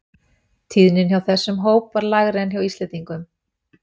Tíðnin hjá þessum hóp var lægri en hjá Íslendingum.